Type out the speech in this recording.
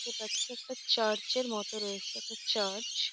দেখতে পাচ্ছি একটা চার্চ -এর মতো রয়েছে। একটি চার্চ ।